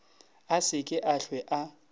a se ke a hlwe